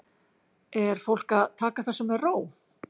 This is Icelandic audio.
Er fólk að taka þessu með ró?